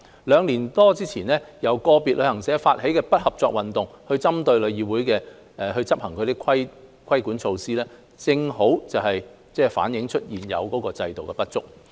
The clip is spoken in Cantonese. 兩年多前，由個別業界人士發起的"不合作運動"，就是針對旅議會所執行的規管措施，正好反映現有制度的不足。